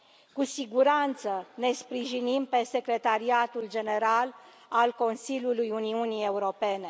Cu siguranță, ne sprijinim pe Secretariatul General al Consiliului Uniunii Europene.